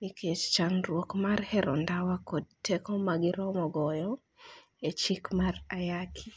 nikech chandruok mar hero ndawa kod tedo ma giromo goyo, e chik mar ayaki